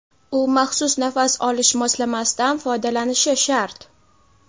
u maxsus nafas olish moslamasidan foydalanishi shart.